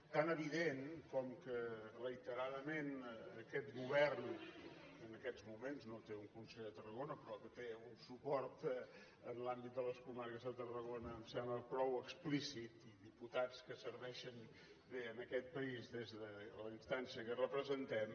tan evident com que reiteradament aquest govern que en aquests moments no té un conseller de tarragona però que té un suport en l’àmbit de les comarques de tarragona em sembla prou explícit i diputats que serveixen bé aquest país des de la instància que representem